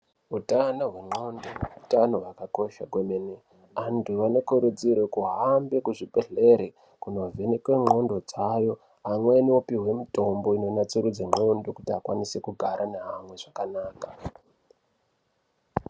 Utano hwendxondo utano hwakanaka kwemene. Antu anokurudzirwe kuhambe kuzvibhedhlere kunovhenekwe ndxondo dzavo, amweni opihwe mitombo inonatsiridze ndxondo kuti akwanise kugara neamwe zvakanaka.